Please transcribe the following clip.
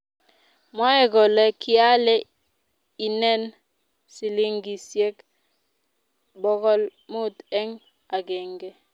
mwoei kole kiale inen silingisiek bokol mut eng agenge